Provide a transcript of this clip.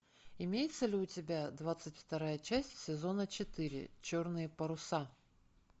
имеется ли у тебя двадцать вторая часть сезона четыре черные паруса